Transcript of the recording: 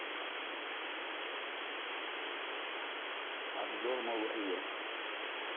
обзор новых игр